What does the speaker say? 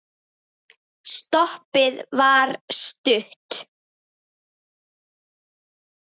Stoppið var stutt.